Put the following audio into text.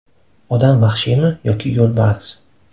Odam vahshiymi yoki yo‘lbars?